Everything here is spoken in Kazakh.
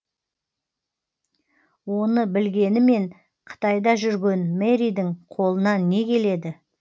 оны білгенімен қытайда жүрген мэридің қолынан не келеді